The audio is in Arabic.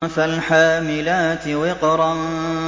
فَالْحَامِلَاتِ وِقْرًا